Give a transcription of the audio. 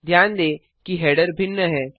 ध्यान दें कि हेडर भिन्न है